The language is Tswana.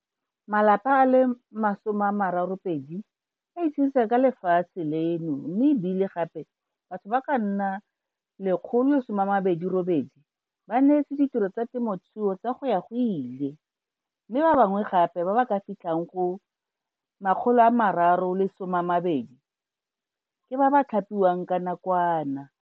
Malapa a le 32 a itshedisa ka lefatshe leno mme e bile gape batho ba ka nna 128 ba neetswe ditiro tsa temothuo tsa go ya go ile mme ba bangwe gape ba ba ka fitlhang go 320 ke ba ba thapiwang nakwana.